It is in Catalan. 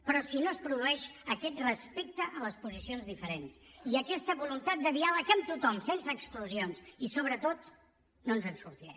però si no es produeix aquest respecte a les decisions diferents i aquesta voluntat de diàleg amb tothom sense exclusions i sobre tot no ens en sortirem